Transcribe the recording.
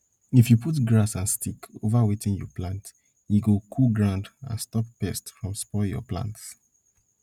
if you put grass and sticks over wetin you plant e go cool ground and stop pest from spoil your plants